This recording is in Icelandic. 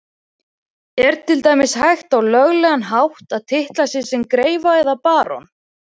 Er til dæmis hægt á löglegan hátt að titla sig sem greifa eða barón?